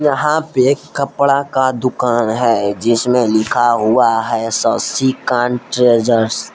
यहां पे एक कपड़ा का दुकान है जिसमें लिखा हुआ है शशिकांत ट्रेजर्श ।